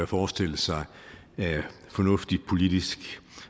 forestillet sig af fornuftig politisk